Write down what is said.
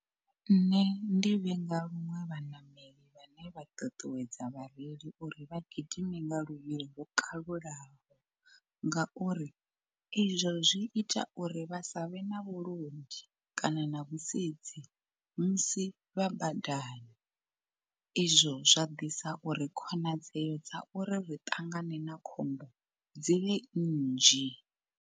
Nṋe ndi vhenga luṅwe vhaṋameli vhane vha ṱuṱuwedza vhareili uri vha gidime nga luvhilo lwo kalulaho. Ngauri izwo zwi ita uri vha savhe na vhulondi kana na vhusedzi musi vha badani, izwo zwa ḓisa uri khonadzeo dza uri ri ṱangane na khombo dzivhe nnzhi.